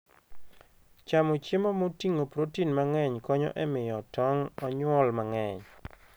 Chamo chiemo moting'o protein mang'eny konyo e miyo tong' onyuol mang'eny.